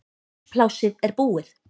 Húsplássið er búið